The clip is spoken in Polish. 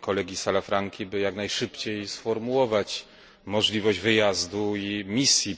kolegi Salafranki, by jak najszybciej sformułować możliwość wyjazdu i misji